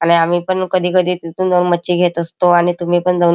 आणि आम्ही पण कधी कधी तिथुन जाऊन मच्छी घेत असतो आणि तुम्ही पण जाऊन--